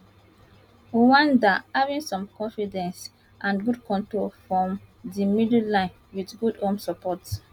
rwanda having some confidence and good control from di middle line wit good home support